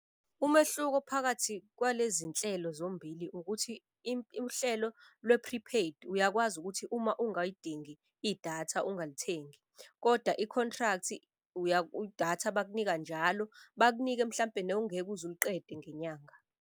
Umehluko phakathi kwalezi nhlelo zombili ukuthi uhlelo lwe-prepaid, uyakwazi ukuthi uma ongayidingi idatha ungalithengi. Kodwa i-contract idatha bakunika njalo, bakunike mhlampe newungeke uzuliqede ngenyanga.